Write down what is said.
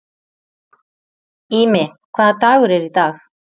Ími, hvaða dagur er í dag?